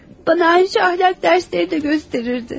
Mənə əxlaq dərsləri də öyrədərdi.